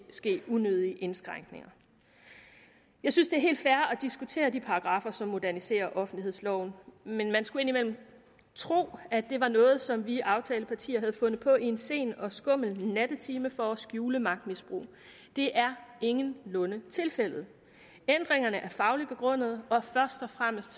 ske unødige indskrænkninger jeg synes det er helt fair at diskutere de paragraffer som moderniserer offentlighedsloven men man skulle indimellem tro at det var noget som vi aftalepartier havde fundet på i en sen og skummel nattetime for at skjule magtmisbrug det er ingenlunde tilfældet ændringerne er fagligt begrundet og først og fremmest